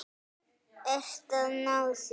Ert að ná þér.